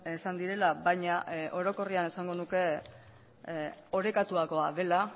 esan direla baina orokorrean esango nuke orekatuagoa dela